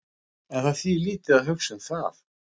En það þýðir lítið að hugsa um það.